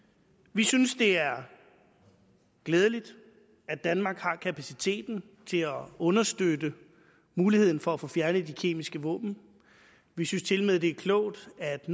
vi synes det er glædeligt at danmark har kapaciteten til at understøtte muligheden for at få fjernet de kemiske våben vi synes tilmed det er klogt at